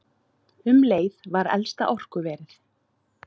Um leið var elsta orkuverið